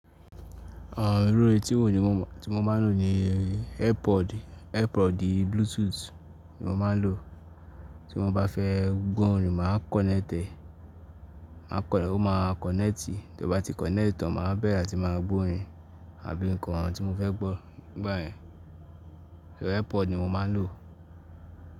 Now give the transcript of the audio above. Àn, irú etí wò ni mo ti mo máa ń lò ni Airpod. Airpod Bluetooth ni mo máa ń lò. Tí mo bá fẹ́ gbọ́ orin màá kọ̀nẹ́ẹ̀tì e, ó máa kọ̀nẹ́ẹ̀tì. Tí ó bá ti kọ̀nẹ́ẹ̀tì tán, màá wa bẹ̀rẹ̀ àti máa gbọ́rin àbí nǹkan tí mo fẹ́ gbọ́ nígbà yẹn. Airpod ni mo máa ń lò.